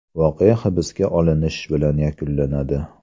Voqea hibsga olinish bilan yakunlanadi.